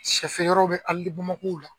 Sɛfeereyɔrɔ bɛ alidebamakɔ la